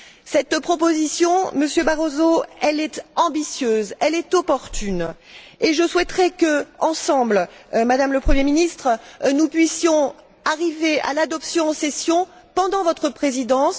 Cette proposition, Monsieur Barroso, elle est ambitieuse, elle est opportune et je souhaiterais que, ensemble, Madame le Premier ministre, nous puissions arriver à l'adopter en séance plénière, pendant votre Présidence.